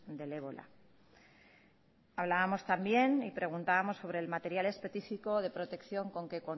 del ébola hablábamos también y preguntábamos sobre el material específico de protección con que